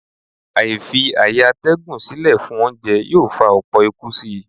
Àìfi-ààyè-atẹ́gùn sílè fún oúnjẹ yóò fa ọlpọ̀ ikú si.